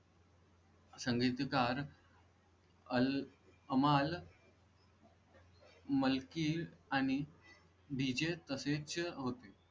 संगीत दार अल माल मल की आणि विजय त सेच होती.